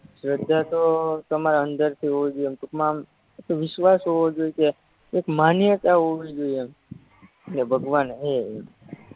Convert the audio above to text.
શ્રધાતો તમાર અંદરથી હોવી જોયે ટુકમાં આમ વિશ્વાસ હોવો જોયે કે એક માન્યતા હોવી જોયે એમ કે ભગવાન હે એમ